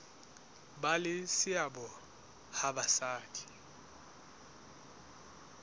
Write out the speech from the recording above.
ba le seabo ha basadi